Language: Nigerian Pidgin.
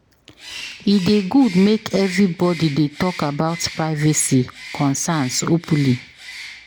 E dey good make everybody dey talk about privacy concerns openly.